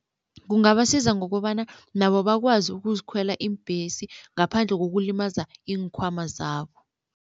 Kungabasiza ngokobana nabo bakwazi ukuzikhwela iimbhesi ngaphandle kokulimaza iinkhwama zabo.